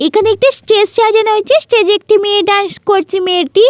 এখানে একটি স্টেজ সাজানো হয়েছে। স্টেজ -এ একটি মেয়ে ডান্স করছে মেয়েটি--